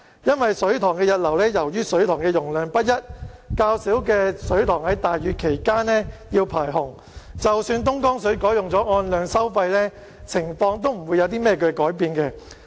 因為水塘的溢流是由於水塘的容量不一，較小的水塘在大雨期間要排洪，即使東江水改用按量收費，情況亦不會有何改變。